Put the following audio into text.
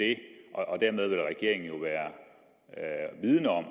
og dermed vil regeringen jo være vidende om